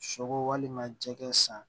Sogo walima jɛgɛ san